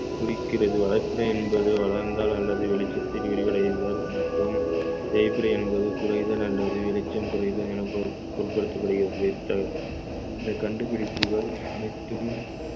குறிக்கிறது வளர்பிறை என்பது வளர்ந்தால் அல்லது வெளிச்சத்தில் விரிவடைதல் மற்றும் தேய்பிறை என்பது குறைதல் அல்லது வெளிச்சம் குறைதல் என பொருட்~ பொருட்படுத்தப்படுகிறது இந்த கண்டுபிடிப்புகள் அனைத்தும்